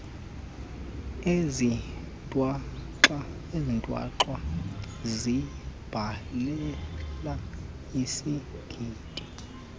ezithwaxwa ziimbalela isigidi